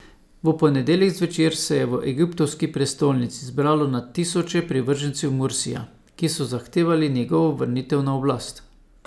V ponedeljek zvečer se je v egiptovski prestolnici zbralo na tisoče privržencev Mursija, ki so zahtevali njegovo vrnitev na oblast.